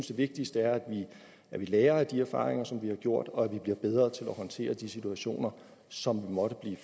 det vigtigste er at vi lærer af de erfaringer som vi har gjort og at vi bliver bedre til at håndtere de situationer som vi måtte blive